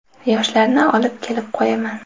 Yoshlarni olib kelib qo‘yaman.